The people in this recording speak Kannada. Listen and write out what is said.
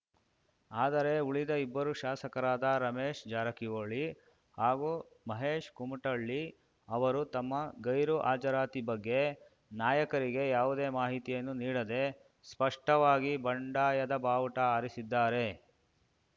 ಆದರೆ ಉಳಿದ ಇಬ್ಬರು ಶಾಸಕರಾದ ರಮೇಶ್‌ ಜಾರಕಿಹೊಳಿ ಹಾಗೂ ಮಹೇಶ್‌ ಕುಮಟಳ್ಳಿ ಅವರು ತಮ್ಮ ಗೈರು ಹಾಜರಾತಿ ಬಗ್ಗೆ ನಾಯಕರಿಗೆ ಯಾವುದೇ ಮಾಹಿತಿಯನ್ನು ನೀಡದೇ ಸ್ಪಷ್ಟವಾಗಿ ಬಂಡಾಯದ ಬಾವುಟ ಹಾರಿಸಿದ್ದಾರೆ